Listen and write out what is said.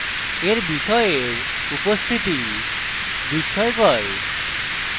এর বিষয়ের উপস্থিতি বিস্ময়কর